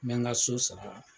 N bɛ n ka so sara.